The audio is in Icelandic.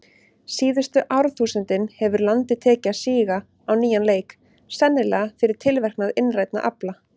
Síðustu árþúsundin hefur landið tekið að síga á nýjan leik, sennilega fyrir tilverknað innrænna afla.